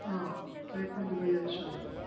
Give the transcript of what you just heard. હા એટલે એ પણ દુબઈ જાયે છે હવે